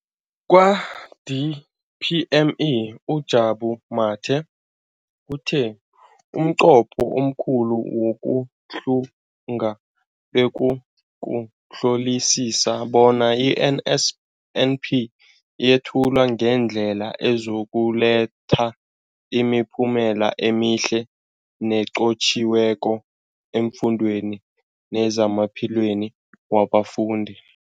Kwa-DPME, uJabu Mathe, uthe umnqopho omkhulu wokuhlunga bekukuhlolisisa bona i-NSNP yethulwa ngendlela ezokuletha imiphumela emihle nenqotjhiweko efundweni nezamaphilo wabafundi.